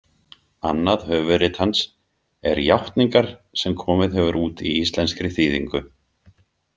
Annað höfuðrit hans er Játningar sem komið hefur út í íslenskri þýðingu.